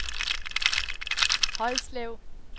Højslev